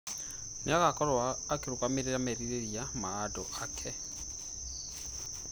Nĩ agaakorũo akĩrũgamĩrĩra merirĩria ma andũ ake.